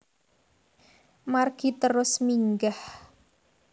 Margi terus minggah